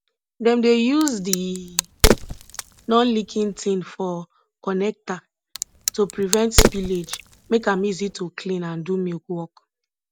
dem dey yuz de nonleaking tin for connecta to prevent spillage make am easy to clean and do milk work